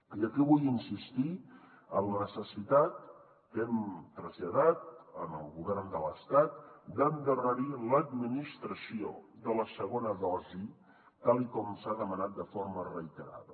i aquí vull insistir en la necessitat que hem traslladat al govern de l’estat d’endarrerir l’administració de la segona dosi tal com s’ha demanat de forma reiterada